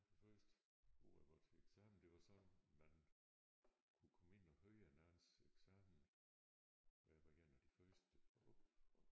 Det første år jeg var til eksamen det var sådan man kunne komme ind og høre en andens eksamen og jeg var en af de første og og